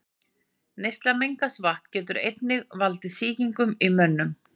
Neysla mengaðs vatns getur einnig valdið sýkingum í mönnum.